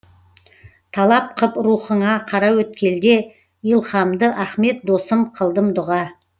талап қып рухыңа қараөткелде илһамды ахмет досым қылдым дұға